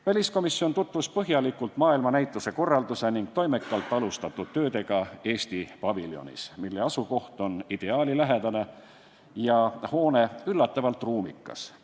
Väliskomisjon tutvus põhjalikult maailmanäituse korralduse ning toimekalt alustatud töödega Eesti paviljonis, mille asukoht on ideaalilähedane ja hoone üllatavalt ruumikas.